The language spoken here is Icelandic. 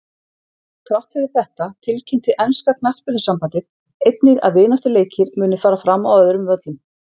Þrátt fyrir þetta tilkynnti enska knattspyrnusambandið einnig að vináttuleikir muni fara fram á öðrum völlum.